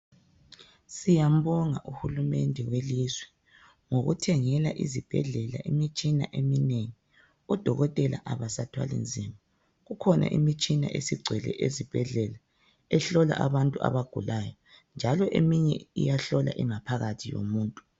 Siyambonga uhulumende welizwe ngokuthengela izibhedlela imitshina eminengi. Odokotela abasathwali nzima kukhona imitshina esigcwele ezibhedlela ehlola abantu abagulayo njalo eminye iyahlola ingaphakathi yomuntu.